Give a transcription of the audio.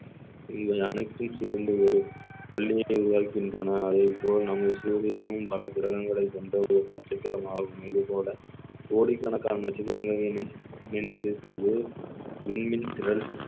இவை அனைத்தும் சேர்ந்து ஒரு பள்ளியை உருவாக்கின்றன அதே போல் நமது சூரியனும் பல கிரகங்களை கொண்ட ஒரு நட்சத்திரமாகும் இது போல கோடிக்கணக்கான நட்சத்திரங்களில் மிஞ்சி இருப்பது விண்மீன் திறன்